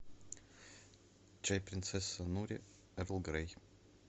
чай принцесса нури эрл грей